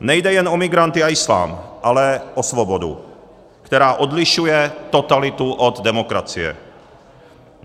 Nejde jen o migranty a islám, ale o svobodu, která odlišuje totalitu od demokracie.